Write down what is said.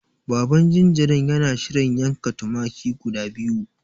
Baban jinjirin yana shirin yanka tumaki guda biyu.